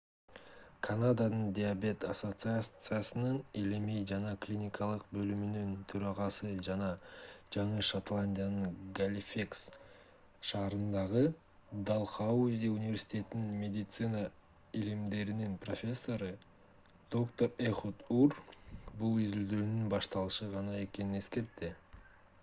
канаданын диабет ассоциациясынын илимий жана клиникалык бөлүмүнүн төрагасы жана жаңы шотландиянын галифекс шаарындагы далхаузи университетинин медицина илимдеринин профессору доктор эхуд ур бул изилдөөнүн башталышы гана экенин эскертти